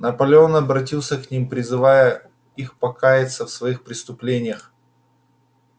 наполеон обратился к ним призывая их покаяться в своих преступлениях